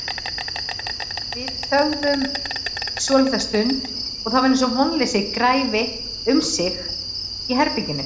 Við þögðum svolitla stund og það var eins og vonleysi græfi um sig í herberginu.